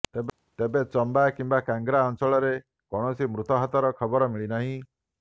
ତେବେ ଚମ୍ବା କିମ୍ବା କାଂଗ୍ରା ଅଞ୍ଚଳରେ କୌଣସି ମୃତାହତର ଖବର ମିଳିନାହିଁ